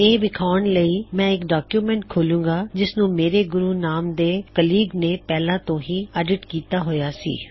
ਇਹ ਵਿਖਾਉਮ ਲਈ ਮੈ ਇਕ ਡੌਕਯੁਮੈੱਨਟ ਖੋਲ੍ਹਾਂ ਗਾ ਜਿਸ ਨੂੰ ਮੇਰੇ ਗੁਰੂ ਨਾਮ ਦੇ ਸਹਾਇਕ ਨੇ ਪਹਿਲਾ ਤੋ ਹੀ ਐੱਡਿਟ ਕਿੱਤਾ ਹੋਇਆ ਹੈ